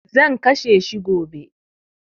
Zan kashe shi gobe.